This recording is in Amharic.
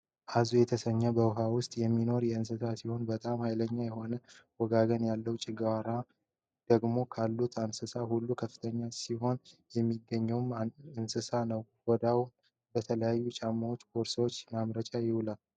አዞ የተሰኘህ በውሃ በውስጥ የሚኖር የእንስሳት ሲሆን በጣም ሀይለኛ የሆነ መንጋጋ ያለው ጨጓራው ደግሞ ካሉት እንስሳት ሁሉ ከፍተኛ አሲድ የሚገኝበት እንስሳ ነው። ቆዳውም ለተለያዩ ጫማዎችና ቦርሳዎች ማምረቻነት ይውላል።